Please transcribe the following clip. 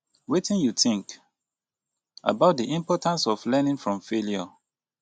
wetin you think about di importance of learning from failure